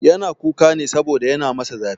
Yana kuka ne saboda yana masa zafi.